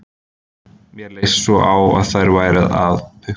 Mér leist svo á að þær væru að pukra